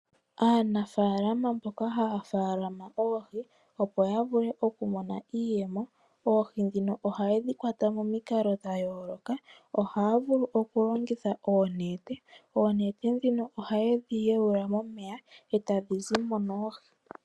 Aanafaalama mboka haya faalama oohi, opo ya vule okumona iiyemo, oohi ndhino ohaye dhi kwata momikalo dha yooloka. Ohaya vulu okulongitha oonete. Oonete ndhino ohaye dhi yaula momeya e tadhi zi mo noohi.